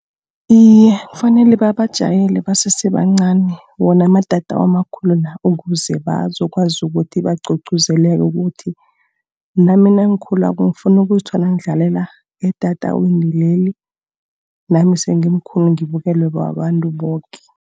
Iye, kufanele babajayele basese bancani, wona amatatawu amakhulu la, ukuze bazokwazi ukuthi bagqugquzeleke ukuthi nami nangikhulako ngifuna ukuzithola ngidlalela etatawini leli. Nami sengimkhulu ngibukelwe babantu boke.